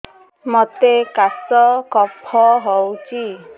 ମୋତେ କାଶ କଫ ହଉଚି